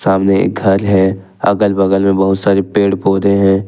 सामने एक घर है अगल बगल में बहुत सारे पेड़ पौधे हैं।